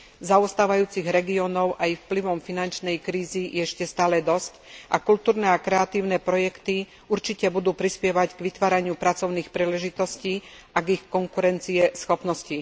Zaostávajúcich regiónov aj vplyvom finančnej krízy je ešte stále dosť a kultúrne a kreatívne projekty určite budú prispievať k vytváraniu pracovných príležitostí a k ich konkurencieschopnosti.